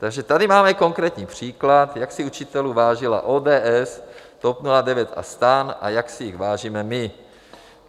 Takže tady máme konkrétní příklad, jak si učitelů vážila ODS, TOP 09 a STAN a jak si jich vážíme my.